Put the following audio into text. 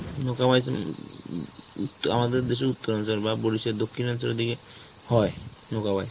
উম আমাদের দেশে উত্তর দক্ষিণাঞ্চলের দিকে হয়,